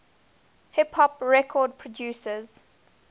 hip hop record producers